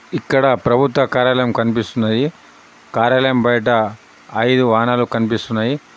ఇక్కడ ప్రభుత్వ కార్యాలయం కనిపిస్తున్నది. కార్యాలయం బయట ఐదు వాహనాలు కనిపిస్తున్నాయి.